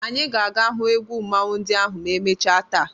Anyị ga-aga hụ egwu mmanwụ ndị ahụ ma emechaa taa.